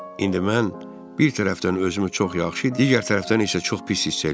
İndi mən bir tərəfdən özümü çox yaxşı, digər tərəfdən isə çox pis hiss eləyirdim.